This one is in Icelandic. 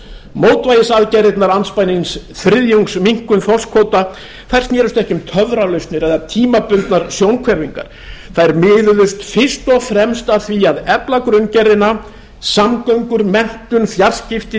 mótvægisaðgerðirnar andspænis þriðjungsminnkun þorskkvóta snerust ekki um töfralausnir eða tímabundnar sjónhverfingar þær miðuðust fyrst og fremst að því að efla grunngerðina samgöngur menntun fjarskipti